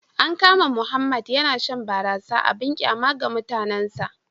An kama Mohammed yana shan barasa abin kyama ga mutanensa